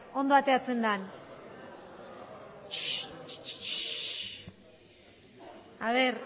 ondo ateratzen den aber